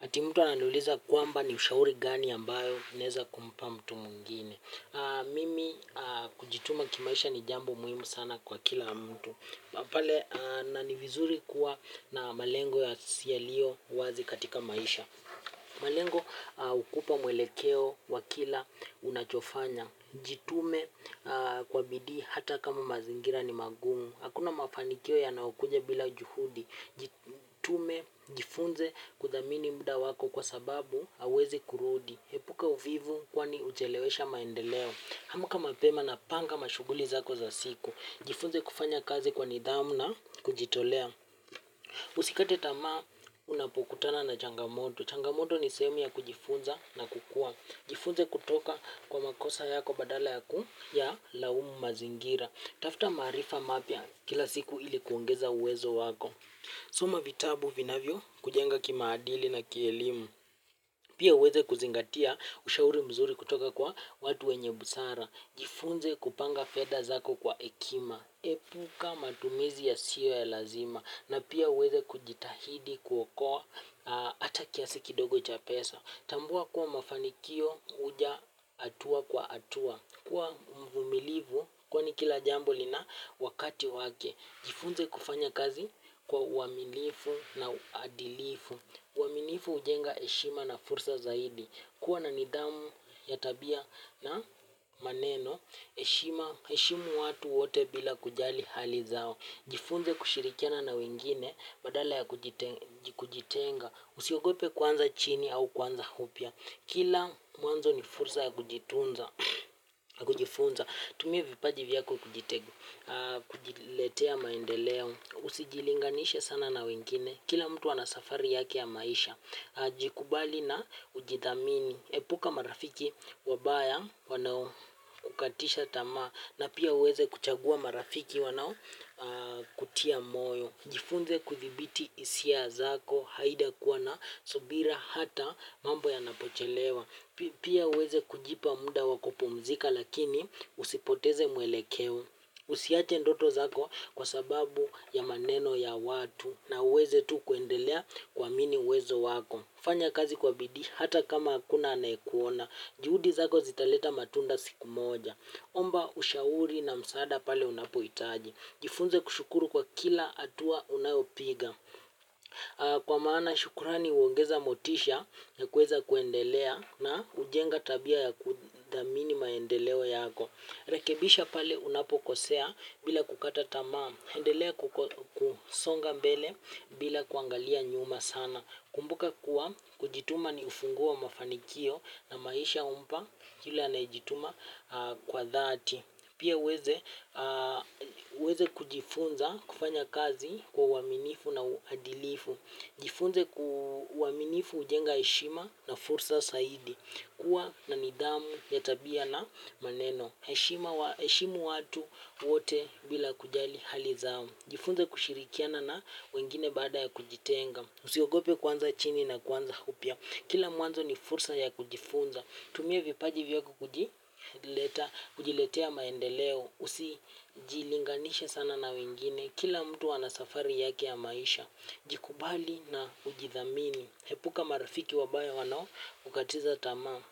Ati mtu ananiuliza kwamba ni ushauri gani ambayo naweza kumpa mtu mwingine. Mimi kujituma kimaisha ni jambo muhimu sana kwa kila mtu. Pale nani vizuri kuwa na malengo ya si yalio wazi katika maisha. Malengo hukupa mwelekeo wa kila unachofanya. Jitume kwa bidii hata kama mazingira ni magumu. Hakuna mafanikio yanayokuja bila juhudi. Jitume, jifunze kudhamini muda wako kwa sababu hauwezi kurudi epuka uvivu kwani huchelewesha maendeleo amka mapema na panga mashughuli zako za siku. Jifunze kufanya kazi kwa nidhamu na kujitolea. Usikate tamaa unapokutana na changamoto. Changamoto ni sehemu ya kujifunza na kukua. Jifunze kutoka kwa makosa yako badala yaku ya laumu mazingira. Tafuta maarifa mapya kila siku ili kuongeza uwezo wako. Soma vitabu vinavyo kujenga kimaadili na kielimu. Pia uweze kuzingatia ushauri mzuri kutoka kwa watu wenye busara. Jifunze kupanga fedha zako kwa hekima. Epuka matumizi ya siyo ya lazima. Na pia uweze kujitahidi kuokoa ata kiasi kidogo cha pesa. Tambua kuwa mafanikio huja hatua kwa hatua. Kuwa mvumilivu, kwa ni kila jambo lina wakati wake. Jifunze kufanya kazi kwa uaminifu na uadilifu. Uaminifu ujenga eshima na fursa zaidi. Kuwa na nidhamu ya tabia na maneno, heshima heshimu watu wote bila kujali hali zao. Jifunze kushirikiana na wengine badala ya kujitenga usiogope kuanza chini au kuanza upya kila mwanzo ni fursa ya kujitunza ya kujifunza tumia vipaji vyako kujiletea maendeleo usijilinganish sana na wengine kila mtu ana safari yake ya maisha. Jikubali na ujithamini. Epuka marafiki wabaya wanao kukatisha tamaa na pia uweze kuchagua marafiki wanao kutia moyo. Jifunze kuthibiti isia zako haida kuwa na subira hata mambo ya napochelewa. Pia uweze kujipa muda wakupumzika lakini usipoteze mwelekeo. Usiache ndoto zako kwa sababu ya maneno ya watu na uweze tu kuendelea kuamini uwezo wako. Fanya kazi kwa bidii hata kama akuna anayekuona. Juhudi zako zitaleta matunda siku moja. Omba ushauri na msaada pale unapo itaji. Jifunze kushukuru kwa kila atua unayopiga. Kwa maana shukurani huongeza motisha ya kuweza kuendelea na kujenga tabia ya kudhamini maendeleo yako. Rakebisha pale unapokosea bila kukata tamaa. Endelea kusonga mbele bila kuangalia nyuma sana. Kumbuka kuwa kujituma ni ufunguo wa mafanikio na maisha humpa kila anayejituma kwa dhati. Pia uweze uweze kujifunza kufanya kazi kwa uaminifu na uadilifu. Jifunze ku uaminifu hujenga heshima na fursa zaidi. Kua na nidhamu ya tabia na maneno heshima heshimu watu wote bila kujali hali zao. Jifunze kushirikiana na wengine baada ya kujitenga. Usiogope kuanza chini na kuanza upya. Kila mwanzo ni fursa ya kujifunza. Tumia vipaji vyako kujiletea maendeleo. Usijilinganishe sana na wengine. Kila mtu ana safari yake ya maisha. Jikubali na ujithamini. Epuka marafiki wabaya wanao kukatiza tama.